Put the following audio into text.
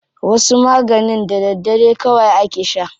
Wasu maganin da daddare kawai ake sha.